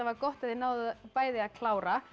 gott að þið náðuð bæði að klára